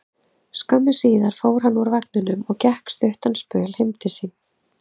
Skömmu síðar fór hann úr vagninum og gekk stuttan spöl heim til sín.